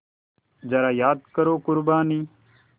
ज़रा याद करो क़ुरबानी